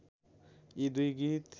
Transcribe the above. यी दुई गीत